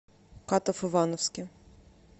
катав ивановске